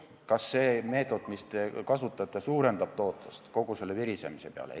Kas see meetod, mis te kasutate, suurendab tootlust kogu selle virisemise peale?